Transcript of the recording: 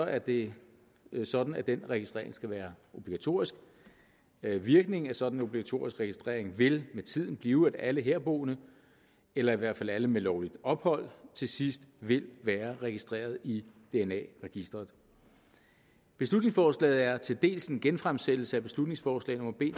er det sådan at denne registrering skal være obligatorisk virkningen af en sådan obligatorisk registrering vil med tiden blive at alle herboende eller i hvert fald alle med lovligt ophold til sidst vil være registreret i dna registeret beslutningsforslaget er til dels en genfremsættelse af beslutningsforslag nummer b